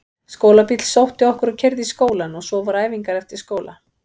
Skólabíll sótti okkur og keyrði í skólann og svo voru æfingar eftir skóla.